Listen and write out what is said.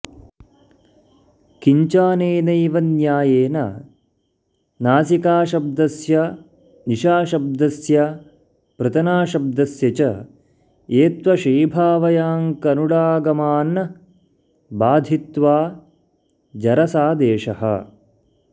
किञ्चाऽनेनैव न्यायेन नासिकाशब्दस्य निशाशब्दस्य पृतनाशब्दस्य च एत्त्वशीभावयाड्नुडागमान् बाधित्वा जरसादेशः